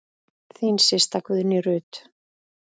Þín systa, Guðný Ruth.